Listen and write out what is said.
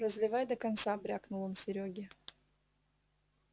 разливай до конца брякнул он серёге